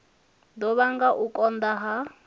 ḓo vhanga u konḓa ha